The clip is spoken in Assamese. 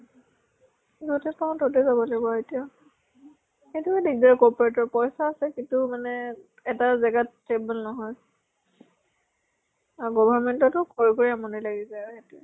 যʼতে পাওঁ তʼতে যাব লাগিব আৰু এতিয়া। সেইটোয়ে দিগ্দাৰ corporate ৰ। পইচা আছে কিন্তু এটা জেগাত stable নহয়। আৰু government টো কৰিব্ই আমনি লাগি যায় আৰু সেইটোয়ে।